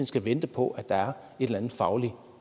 skal vente på at der er en eller anden faglig